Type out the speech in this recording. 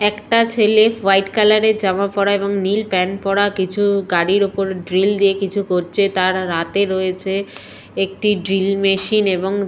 একটা ছেলে হোয়াইট কালারের জামা পড়া এবং নীল প্যান্ট পড়া কিছু গাড়ির ওপর ড্রিল দিয়ে কিছু করছে তার রাতে রয়েছে একটি ড্রিল মেশিন এবং--